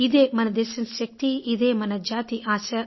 ఇదే మన దేశం శక్తి ఇదే మన జాతి ఆశ